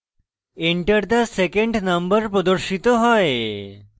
enter the second number প্রদর্শিত হয়